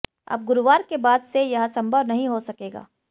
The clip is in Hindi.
अब गुरुवार के बाद से यह संभव नहीं हो सकेगा